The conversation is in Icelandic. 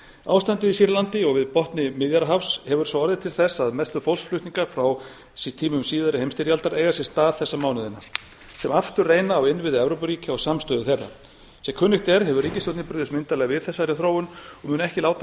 ástandið í sýrlandi og við botni miðjarðarhafs hefur svo orðið til þess að mestu fólksflutningar frá tímum síðari heimsstyrjaldar eiga sér stað þessa mánuðina sem aftur reyna á innviði evrópuríkja og samstöðu þeirra sem kunnugt er hefur ríkisstjórnin brugðist myndarlega við þessari þróun og mun ekki láta